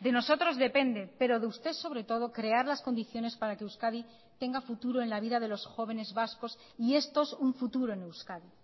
de nosotros depende pero de usted sobre todo crear las condiciones para que euskadi tenga futuro en la vida de los jóvenes vascos y estos un futuro en euskadi